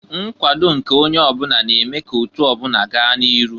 Nkwado nke onye ọbụna na-eme ka otu ọbụna gaa n'iru.